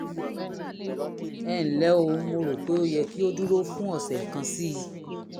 ẹ ǹlẹ́ o mo rò pé ó yẹ kí odúró fún ọ̀sẹ̀ kan sí i